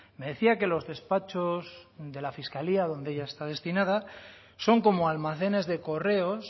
me decía que los despachos de la fiscalía donde ella está destinada son como almacenes de correos